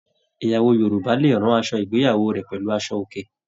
Ìyàwó Yorùbá lè ràn aṣọ ìgbéyàwó rẹ pẹlú aṣọ òkè.